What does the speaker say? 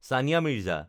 Sania Mirza